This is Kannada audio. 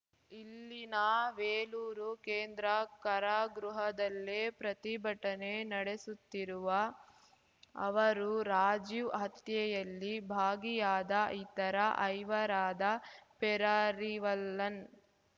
ಇಲ್ಲಿನ ವೇಲೂರು ಕೇಂದ್ರ ಕಾರಾಗೃಹದಲ್ಲೇ ಪ್ರತಿಭಟನೆ ನಡೆಸುತ್ತಿರುವ ಅವರು ರಾಜೀವ್‌ ಹತ್ಯೆಯಲ್ಲಿ ಭಾಗಿಯಾದ ಇತರ ಐವರಾದ ಪೆರಾರಿವಲ್ಲನ್‌